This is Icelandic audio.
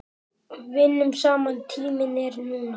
Vinnum saman Tíminn er núna.